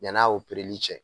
Yann'a cɛ